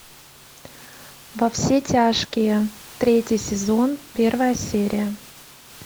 во все тяжкие третий сезон первая серия